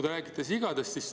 Te räägite sigadest.